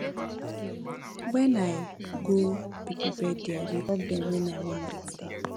wen i go pipo birthday i dey hug dem wen i wan greet dem